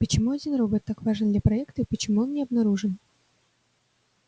почему один робот так важен для проекта и почему он не обнаружен